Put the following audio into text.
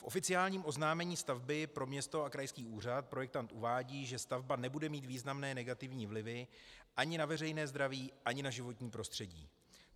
V oficiálním oznámení stavby pro město a krajský úřad projektant uvádí, že stavba nebude mít významné negativní vlivy ani na veřejné zdraví, ani na životní prostředí.